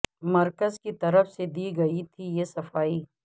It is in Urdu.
مرکز کی طرف سے دی گئی تھی یہ صفائی